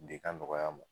De ka nɔgɔya n ma